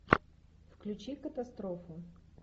включи катастрофу